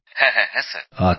হ্যাঁ হ্যাঁ স্যার